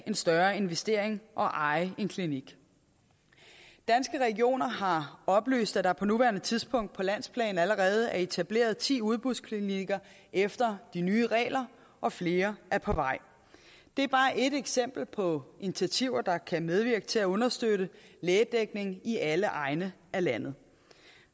større investering og eje en klinik danske regioner har oplyst at der på nuværende tidspunkt på landsplan allerede er etableret ti udbudsklinikker efter de nye regler og flere er på vej det er bare ét eksempel på initiativer der kan medvirke til at understøtte lægedækning i alle egne af landet